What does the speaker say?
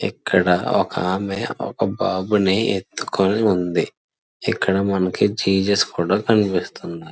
ఇక్కడ ఒకామె ఒక బాబుని ఎత్తుకొని ఉంది ఇక్కడ మనకి జీసస్ కూడా కనిపిస్తున్నాడు.